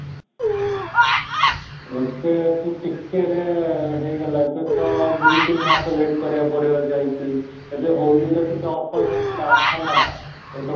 ଏବେ ତୁ ଟିକେ ହେଇଗଲା, ଏବେ ତ ଦୁଇ ତିନ ମାସ wait କରିବା ପାଇଁ ପଡିବ ଯାଇ କି ଏବେ ହୋଲିରେ ଟିକେ offer ଥିଲା ହେଲା ତୁ ତ